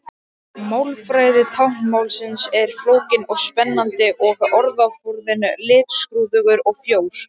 Málfræði táknmálsins er flókin og spennandi og orðaforðinn litskrúðugur og frjór.